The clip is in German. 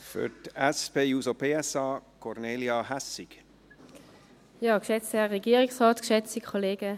Für die SP-JUSO-PSA-Fraktion: Kornelia Hässig.